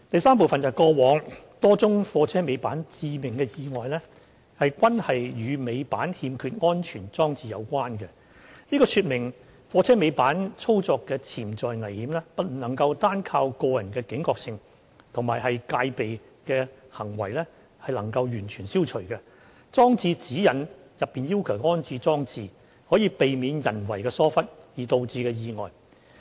三過往多宗貨車尾板致命意外均與尾板欠缺安全裝置有關，這說明貨車尾板操作的潛在危險不能單靠個人的警覺性及戒備行為便能完全消除，裝設《指引》內要求的安全裝置，可避免人為疏忽而導致的意外。